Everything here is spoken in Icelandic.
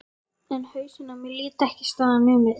Hún skoppaði um eins og bolti.